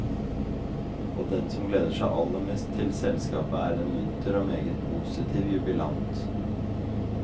Og den som gleder seg aller mest til selskapet, er en munter og meget positiv jubilant.